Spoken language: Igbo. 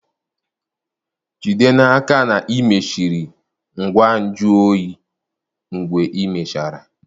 Jide n'aka na ị mechiri ngwa nju oyi mgbe ịmechara